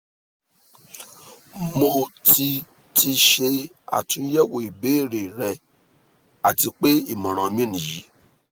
mo ti ti ṣe atunyẹwo ibeere rẹ ati pe imọran mi niyi